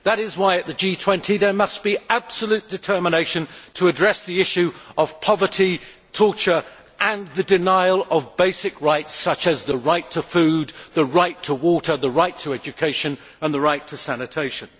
That is why at the G20, there must be absolute determination to address the issue of poverty, torture and the denial of basic rights, such as the right to food, the right to water, the right to education and the right to sanitation.